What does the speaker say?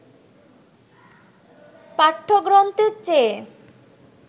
পাঠ্যগ্রন্থের চেয়ে